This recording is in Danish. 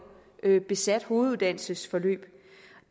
besat hoveduddannelsesforløb